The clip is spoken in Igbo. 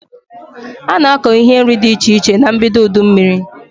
Ana akọ ihe nri dị iche iche na mbido udu mmiri